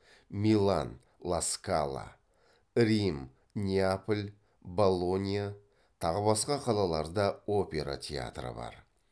милан рим неаполь болонья тағы басқа қалаларда опера театры бар